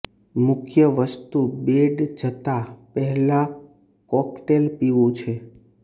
મુખ્ય વસ્તુ બેડ જતાં પહેલાં કોકટેલ પીવું છે